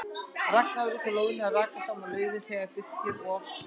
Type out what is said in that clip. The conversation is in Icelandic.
Ragnar var úti á lóðinni að raka saman laufi þegar Birkir og